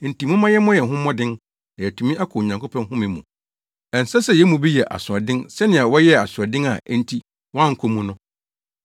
Enti momma yɛmmɔ yɛn ho mmɔden na yɛatumi akɔ Onyankopɔn home mu. Ɛnsɛ sɛ yɛn mu bi yɛ asoɔden sɛnea wɔyɛɛ asoɔden a enti wɔankɔ mu no.